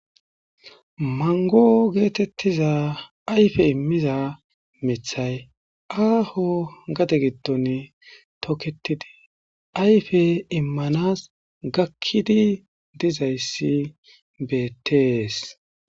Manggo geetheththia ayfe immiza miththay aaho gade giddoni tokeththidi ayfe immanaas gakkidi dizayssi beeththees.